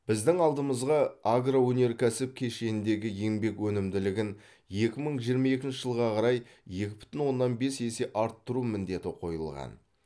біздің алдымызға агроөнеркәсіп кешеніндегі еңбек өнімділігін екі мың жиырма екінші жылға қарай екі бүтін оннан бес есе арттыру міндеті қойылған